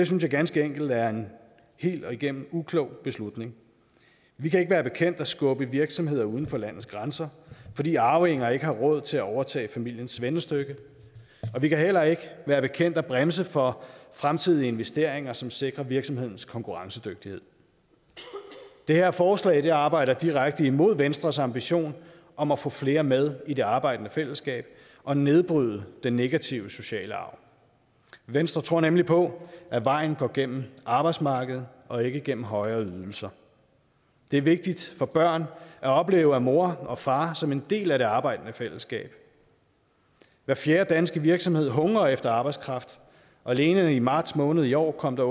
synes jeg ganske enkelt er en helt igennem uklog beslutning vi kan ikke være bekendt at skubbe virksomheder uden for landets grænser fordi arvinger ikke har råd til at overtage familiens svendestykke og vi kan heller ikke være bekendt at bremse for fremtidige investeringer som sikrer virksomhedens konkurrencedygtighed det her forslag arbejder direkte imod venstres ambition om at få flere med i det arbejdende fællesskab og nedbryde den negative sociale arv venstre tror nemlig på at vejen går gennem arbejdsmarkedet og ikke gennem højere ydelser det er vigtigt for børn at opleve mor og far som en del af det arbejdende fællesskab hver fjerde danske virksomhed hungrer efter arbejdskraft og alene i marts måned i år kom der